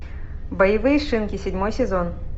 боевые шинки седьмой сезон